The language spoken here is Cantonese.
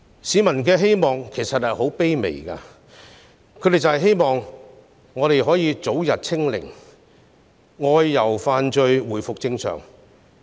市民的願望其實十分卑微，便是香港能早日"清零"，能正常外遊和飯聚。